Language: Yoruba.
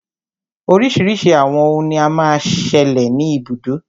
Oríṣiríṣi àwọn òhún ní o má ń ṣẹlẹ̀ ní ibùdó.